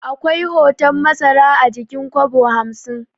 Akwai hoton masara a jikin kwabo hamsin